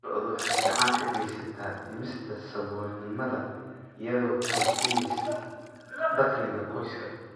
Lo'du waxay gacan ka geysataa dhimista saboolnimada iyadoo kordhinaysa dakhliga qoyska.